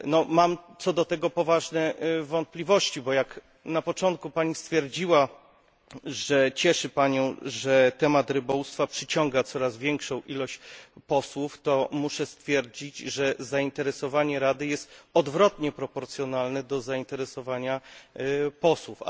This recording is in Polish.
Mam co do tego poważne wątpliwości, gdyż jak na początku Pani stwierdziła, iż cieszy Panią, że temat rybołówstwa przyciąga coraz większą ilość liczbę posłów muszę stwierdzić, że zainteresowanie Rady jest odwrotnie proporcjonalne do zainteresowania posłów.